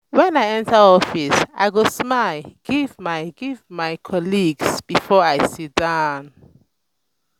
when i enter office i go smile give my give my colleagues before i sit down.